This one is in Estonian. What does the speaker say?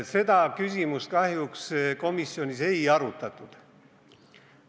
Seda küsimust kahjuks komisjonis ei arutatud.